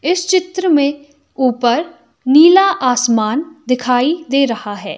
इस चित्र में ऊपर नीला आसमान दिखाई दे रहा है।